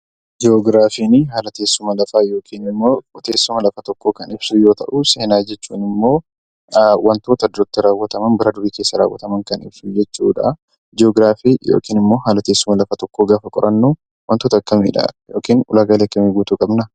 Ji'oogiraafiin haala teessuma lafaa yookiin ammoo teessuma lafa tokkoo Kan ibsuu yoo tahu, seenaa jechuun immoo waantota duratti raawwataman bara durii keessa raawwataman kan ibsu jechuudha. Ji'oogiraafii yookiin haala teessuma lafa tokkoo gaafa qorannu waantota akkamiidha yookiin ulaagaalee akkamii guutuu qabna?